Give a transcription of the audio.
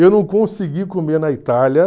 Eu não consegui comer na Itália.